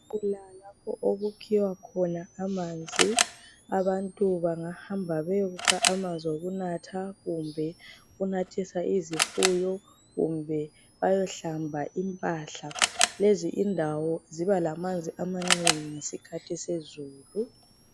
Kulalapho okukhiwa khona amanzi abantu bangahamba beyekukha amanzi okunatha kumbe ukunathisa izifuyo kumbe bayohlamba impahla .Lezi indawo ziba lamanzi amanengi ngesikhathi sezulu .